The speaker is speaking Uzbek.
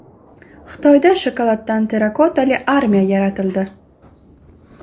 Xitoyda shokoladdan terrakotali armiya yaratildi.